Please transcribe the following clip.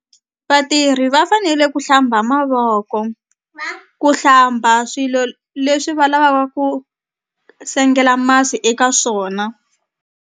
Vatirhi va fanele ku hlamba mavoko ku hlamba swilo leswi va ku sengela masi eka swona.